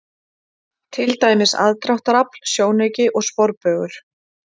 Til dæmis: aðdráttarafl, sjónauki og sporbaugur.